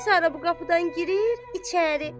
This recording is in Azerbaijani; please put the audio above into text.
Sara bu qapıdan girir içəri.